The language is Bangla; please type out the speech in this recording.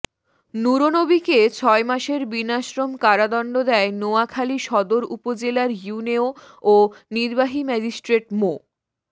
নুরনবীকে ছয় মাসের বিনাশ্রম কারাদণ্ড দেয় নোয়াখালী সদর উপজেলার ইউএনও ও নির্বাহী ম্যাজিস্ট্রেট মো